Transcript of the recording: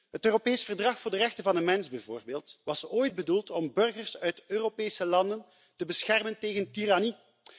Het Europees Verdrag voor de rechten van de mens bijvoorbeeld was ooit bedoeld om burgers uit Europese landen te beschermen tegen tirannie.